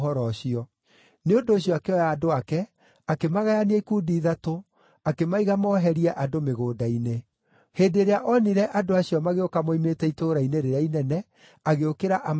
Nĩ ũndũ ũcio akĩoya andũ ake, akĩmagayania ikundi ithatũ, akĩmaiga moherie andũ mĩgũnda-inĩ. Hĩndĩ ĩrĩa onire andũ acio magĩũka moimĩte itũũra-inĩ rĩrĩa inene, agĩũkĩra amatharĩkĩre.